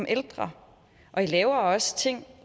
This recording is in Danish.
ældre og i laver også ting